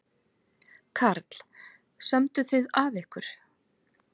Karl: Sömdu þið af ykkur?